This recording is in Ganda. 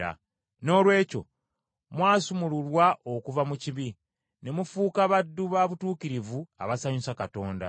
Noolwekyo mwasumululwa okuva mu kibi, ne mufuuka baddu ba butuukirivu abasanyusa Katonda.